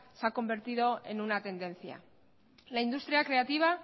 se ha convertido en una tendencia la industria creativa